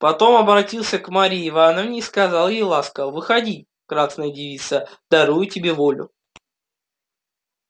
потом обратился к марье ивановне и сказал ей ласково выходи красная девица дарую тебе волю